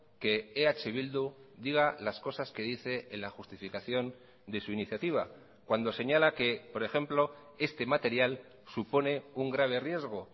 que eh bildu diga las cosas que dice en la justificación de su iniciativa cuando señala que por ejemplo este material supone un grave riesgo